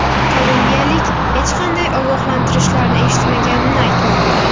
Kolumbiyalik hech qanday ogohlantirishlarni eshitmaganini aytmoqda.